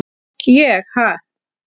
ég- ha?